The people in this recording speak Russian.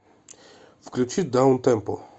включи даунтемпо